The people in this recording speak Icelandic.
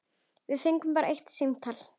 Við fengum bara eitt símtal.